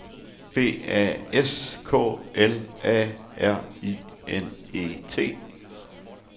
B A S K L A R I N E T